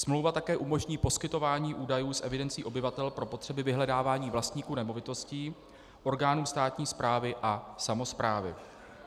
Smlouva také umožní poskytování údajů z evidencí obyvatel pro potřeby vyhledávání vlastníků nemovitostí orgánům státní správy a samosprávy.